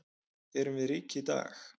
Erum við rík í dag?